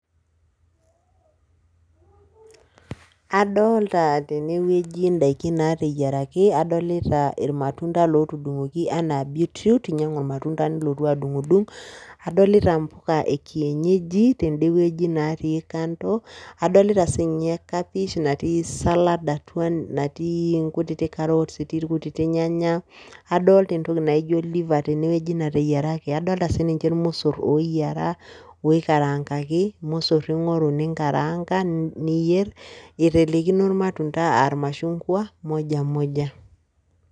Adolta tene wueji ndaikin naateyiaraki, adolita irmatunda lootudung'oki enaa beetroot, inyang'u irmatunda nilotu adung'dung. Adolita mpuka e kienyeji tende wueji natii kando, Adolita siinye kapish natii salad atua natii nkutitik carrots, etii irkutitik irnyanya, adolta entoki naijo liver tene wueji nateyiaraki, adolta sii ninye irmosor ooyiara woikaraankaki, irmosor ing'oru ninkaraanka niyer. Itelekino irmatunda aa irmashungwa moja moja.